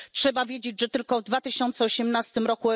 Trzeba wiedzieć, że tylko w 2018 r.